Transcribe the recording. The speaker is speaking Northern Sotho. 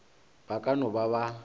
ba ka no ba ba